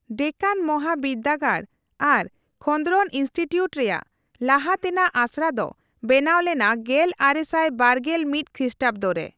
ᱰᱮᱠᱟᱱ ᱢᱚᱦᱟ ᱵᱤᱨᱫᱟᱹᱜᱟᱲ ᱟᱨ ᱠᱷᱚᱱᱫᱽᱨᱚᱱ ᱤᱱᱥᱴᱤᱩᱴᱩᱰ ᱨᱮᱭᱟᱜ ᱞᱟᱦᱟ ᱛᱮᱱᱟᱜ ᱟᱥᱲᱟ ᱫᱚ ᱵᱮᱱᱟᱣ ᱞᱮᱱᱟ ᱜᱮᱞ ᱟᱨᱮᱥᱟᱭ ᱵᱟᱨᱜᱮᱞ ᱢᱤᱛ ᱠᱷᱮᱥᱴᱟᱵᱚᱫᱚ ᱨᱮ ᱾